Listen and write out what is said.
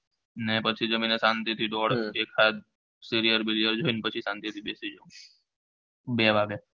ને પછી જમીને શાંતિ થી દોઢ એક સાયદ સીરીયલ બીરીયલ જોઇને શાંતિ થી બેસી જાઉં બે વાગે